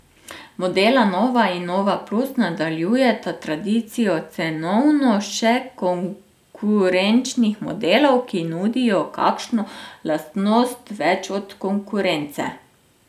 Modela nova in nova plus nadaljujeta tradicijo cenovno še konkurenčnih modelov, ki nudijo kakšno lastnost več od konkurence.